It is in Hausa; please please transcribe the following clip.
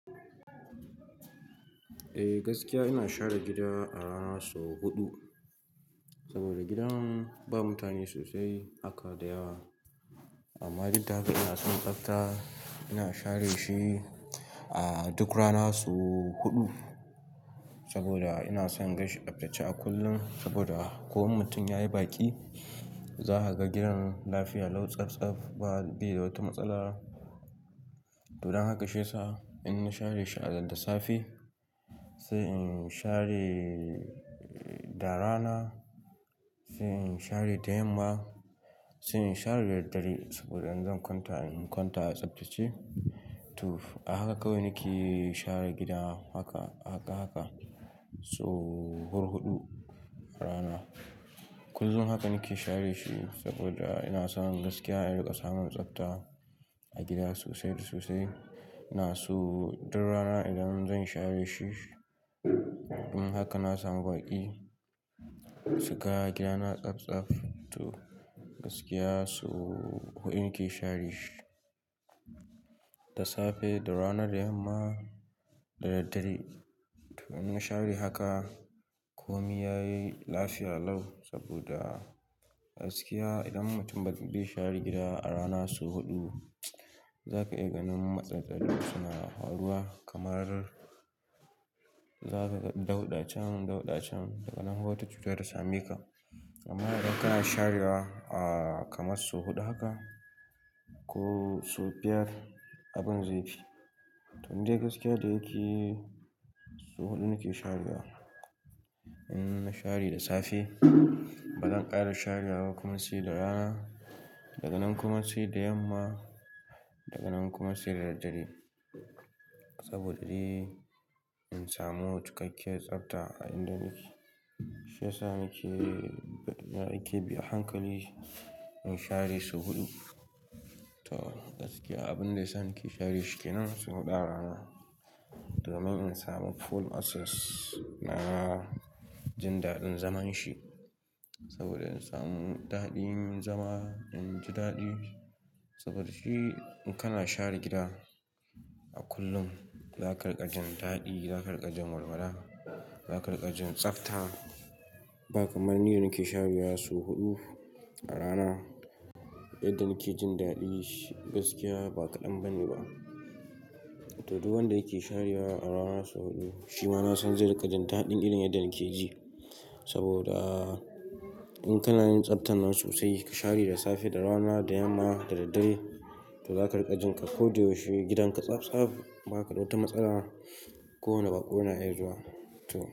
Eh gaskiya ina share gida a rana sau huɗu, saboda gidan ba mutane sosai haka da yawa. Amma duk da haka ina son tsafta, ina share shi a duk rana sau huɗu saboda ina son ganshi tsaftace a kullum saboda ko mutum yayi baki za ka ga gidan lafiya, lau tsaftsaf bai da wata matsala. Don haka shiyasa in na share shi a da safe, sai in share da rana, sai in share da yamma, sai in share da daddare saboda idan zan kwanta, in kwanta a tsaftace. To, a haka kawai nake share gida haka, haka haka sau hurhuɗu a rana. Kullum haka nake share shi saboda ina son gaskiya in riƙa samun tsafta a gida sosai da sosai. Ina so duk rana idan zan share shi, in haka na samu baƙi su ga gidana tsaftsaf. To, gaskiya sau huɗu nake share shi da safe, da rana, da yamma, da daddare. To, in na share haka koh me yayi lafiya lau saboda gaskiya idan mutum bai share gida a rana sau huɗu, za ka iya ganin matsatsalu suna faruwa kamar za ka ga dauɗachan, dauɗachan daga nan wata cuta ta same ka. Amma idan kana share wa kamar sau huɗu haka ko sau biyar abin zai fi. To, ni dai gaskiya da yake sau huɗu nake sharewa. In na share da safe, bazan ƙara share wa kuma sai da rana, daga nan kuma sai da yamma, daga nan kuma sai da daddare. Saboda dai in samu cikakkiyar tsafta a inda nake, shi yasa nake, nake bi a hankali in share sau huɗu. To, gaskiya abin da ya sa nake share shi kenan sau huɗu a rana domin in samu full access na jin daɗin zaman shi. Saboda in samu daɗin zama, in ji daɗi saboda shi in kana share gida a kullum za ka riƙa jin daɗi, za ka riƙa jin walwala, za ka riƙa jin tsafta. Ba kamar ni da nake sharewa sau huɗu a rana, yanda nake jin daɗinshi gaskiya ba kadan bane ba. To, duk wanda yake sharewa a rana sau huɗu, shi ma na san zai riƙa jin daɗin irin yadda nake ji. Saboda in kana yin tsaftar nan sosai ka share da safe, da rana, da yamma, da daddare to za ka riƙa jin ka koyaushe gidanka tsaftsaf. Ba kada wata matsala ko wane baƙo na iya zuwa. To.